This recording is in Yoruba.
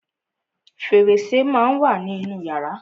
Fẹ̀rẹsẹ́ má á ń wà nínú yàrá.